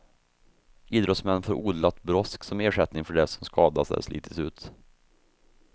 Idrottsmän får odlat brosk som ersättning för det som skadats eller slitits ut.